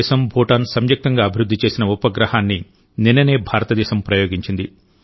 భారతదేశం భూటాన్ సంయుక్తంగా అభివృద్ధి చేసిన ఉపగ్రహాన్ని నిన్ననే భారతదేశం ప్రయోగించింది